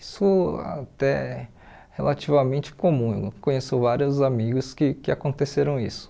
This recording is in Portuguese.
Isso até relativamente comum, eu conheço vários amigos que que aconteceram isso.